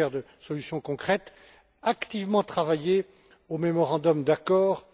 Becker, de solutions concrètes activement travaillé au mémorandum d'accord,